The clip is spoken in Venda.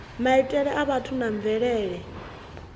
maitele a vhathu na mvelele